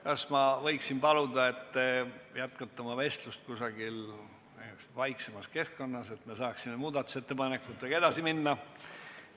Kas ma võiksin paluda, et te jätkaksite oma vestlust kusagil vaiksemas keskkonnas, et me saaksime muudatusettepanekutega edasi minna?